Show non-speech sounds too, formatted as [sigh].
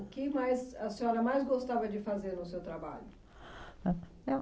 O que mais, a senhora mais gostava de fazer no seu trabalho? [unintelligible] Eu